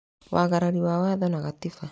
Wagarari wa watho na gatiba